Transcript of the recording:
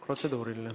Protseduuriline.